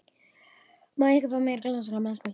Má ég ekki fá mér glas á gamlárskvöldi?